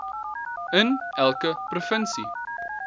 in elke provinsie